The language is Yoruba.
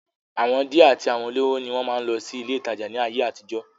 àwọn díẹ̀ àti àwọn olówó ni wọ́n máa ń lọ sí ilé ìtajà ní ayé àtijọ́